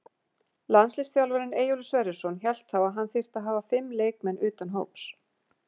Landsliðsþjálfarinn Eyjólfur Sverrisson hélt þá að hann þyrfti að hafa fimm leikmenn utan hóps.